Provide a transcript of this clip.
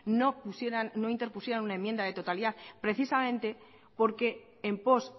no pusieran no interpusieran una enmienda de totalidad precisamente porque en pos